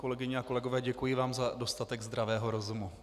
Kolegyně a kolegové, děkuji vám za dostatek zdravého rozumu.